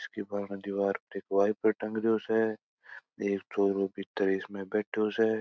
इसके बारणे दिवार पर के वाइपर टंग रो स एक छोरो इसमें भीतर बैठो स।